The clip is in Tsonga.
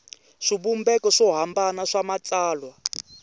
swivumbeko swo hambana swa matsalwa